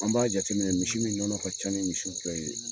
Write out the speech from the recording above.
An b'a jate minɛ misi min ɲɔnɔ ka ca ni ni misiw bɛɛ ye